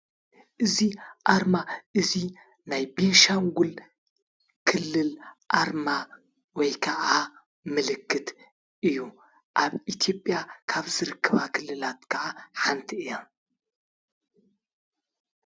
እዚ አርማ እዚ ናይ ቤንሻንጉል ክልል አርማ ወይ ከዓ ምልክት እዩ። አብ ኢትዮጵያ ካብ ዝርከባ ክልላት ከዓ ሓንቲ እያ።